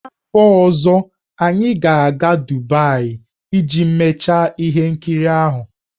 N'afọ ọzọ, anyị ga-aga Dubaị iji mechaa ihe nkiri ahụ.